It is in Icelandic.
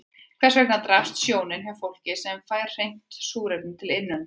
Hvers vegna daprast sjónin hjá fólki sem fær hreint súrefni til innöndunar?